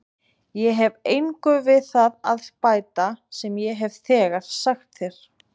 Ég hef engu við það að bæta sem ég hef þegar sagt þér.